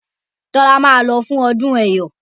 Tola má ló fún ọdún eyọ